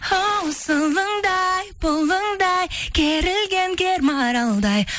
оу сылыңдай бұлыңдай керілген кер маралдай